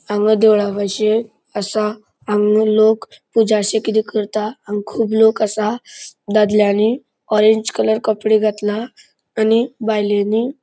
हांगा देवळाबशे असा. हांगा लोक पूजाशी किदे करता हांगा खूब लोक असा. दादल्यानी ऑरेंज कलर कपड़े घातला आणि बायलेनी--